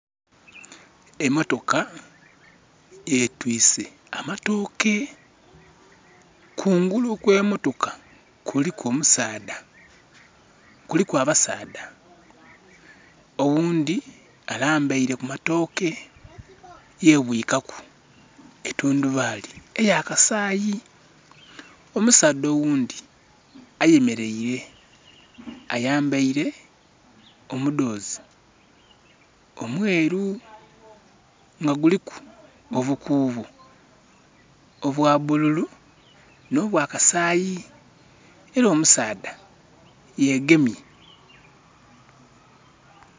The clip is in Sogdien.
Emotoka etwise amatooke. Kungulu kw'emotoka kuliku omusaadha, kuliku abasaadha oghundhi alambeire ku matooke yebwika ku etundhubaali eya kasayi. Omusaadha oghundhi eyemeleire ayambeire omudhozi omweru nga guliku obukuubo obwa bululu no bwakasayi era omusaadha yegemye.